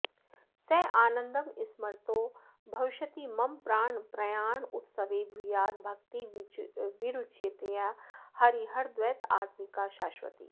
सानन्दं स्मरतो भविष्यति मम प्राणप्रयाणोत्सवे भूयात् भक्तिरविच्युता हरिहरद्वैतात्मिका शाश्वती